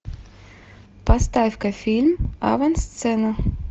поставь ка фильм авансцена